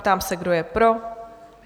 Ptám se, kdo je pro?